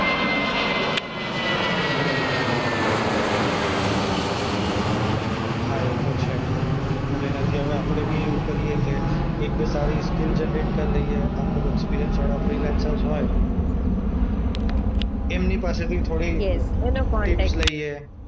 હા એતો છે. તો એનાથી હવે આપણે બી એવું કરીએ કે એક-બે સારી સ્કીલ્સ જનરેટ કરી લઈએ. અમુક એક્સપિરિયન્સવાળા ફ્રીલેન્સર્સ હોય એમની પાસેથી થોડી અ ટિપ્સ લઈએ. યસ એનો કોન્ટેક્ટ